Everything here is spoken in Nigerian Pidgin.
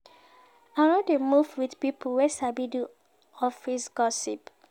I no dey move wit pipo wey sabi do office gossip.